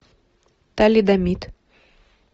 талидомид